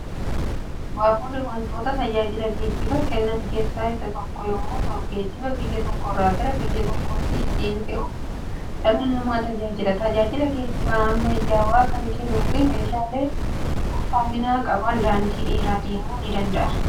Baaburri wantoota tajaajila geejjiba kennan keessaa isa tokko yemmuu ta'u geejjiba biyya tokkorraa gara biyya tokkootti ittiin fe'uuf dhala namaa tajaajila. Tajaajila geejjiba ammayyawaa kan kennuu fi meeshaalee ulfaatina qaban daandii dheeraa deemuuni danda'a.